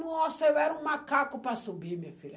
Nossa, eu era um macaco para subir, minha filha.